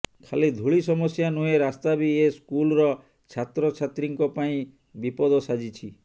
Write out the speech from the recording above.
ଖାଲି ଧୂଳି ସମସ୍ୟା ନୁହେଁ ରାସ୍ତା ବି ଏ ସ୍କୁଲ୍ର ଛାତ୍ରଛାତ୍ରୀଙ୍କ ପାଇଁ ବିପଦ ସାଜିଛି